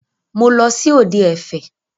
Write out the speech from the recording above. Mo lọ sí òde ẹ̀fẹ̀.